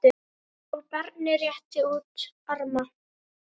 og barnið réttir út arma